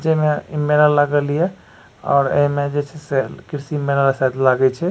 जे में इ मेला लागल या और ए में जे छै से कृषि मेला शायद लागे छै ।